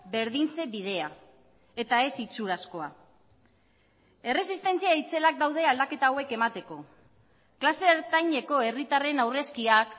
berdintze bidea eta ez itxurazkoa erresistentzia itzelak daude aldaketak hauek emateko klase ertaineko herritarren aurrezkiak